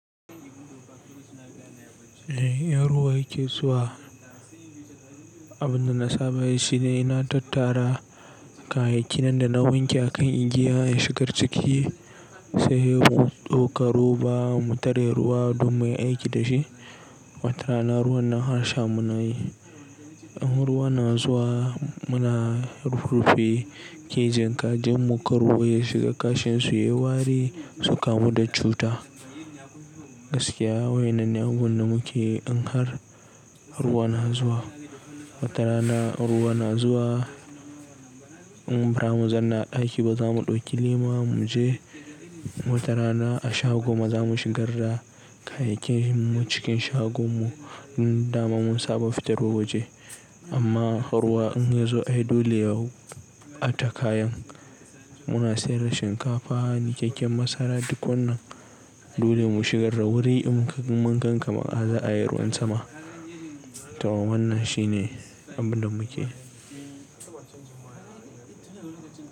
Eh, in ruwa yake zuwa abin da na saba yi shine ina tattara kayayyaki nan da na wanke akan igiya na shigar ciki sai mu ɗauka ruba mu tari ruwa don muyi aiki da shi. Watara na ruwan na har sha muna yi. In ruwa na zuwa muna rurrufe kejin kajin mu kar ruwa ya shiga kashin su, yai wari su kamu da cuta. Gaskiya wa innan ne abubuwan da muke in har ruwa na zuwa. Watarana in ruwa na zuwa in ba zamu zauna ɗaki ba za mu ɗauki lema mu je. Watara na a shago ma za mu shigar da kayayyakin mu cikin shagon mu mu dama mun saba fitarwa waje. Amma har ruwa in ya zo ai dole yau a tara kayan muna sayar da shinkafa, niƙaƙƙen masara duk wannan dole mu shigar da wuri in mun ganka kamar za'a'i ruwan sama. To wannan shine abin da mukeyi.